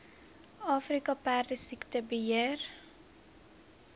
afrika perdesiekte beheer